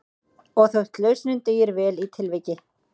Og þótt lausnin dugir vel í tilviki